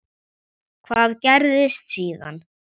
Hvað gerðist síðan?